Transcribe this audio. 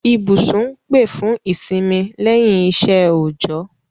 Ibúsùn n pè fùn ìsínmí lẹ́yìn isẹ́ òòjọ́